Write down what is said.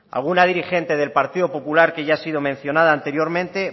alguna dirigente del partido popular que ya ha sido mencionada anteriormente